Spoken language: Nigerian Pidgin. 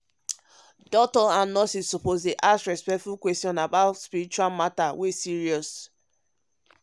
ah doctors and nurses suppose dey ask respectful questions about spiritual matter wey serious.